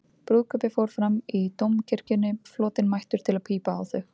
Brúðkaupið fór fram í Dómkirkjunni, flotinn mættur til að pípa á þau.